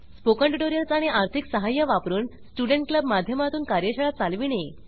spoken tutorials आणि आर्थिक सहाय्य वापरून स्टूडेंट क्लब माध्यमातून कार्यशाळा चालविणे